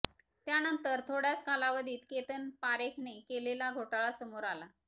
त्यानंतर थोडय़ाच कालावधीत केतन पारेखने केलेला घोटाळा समोर आला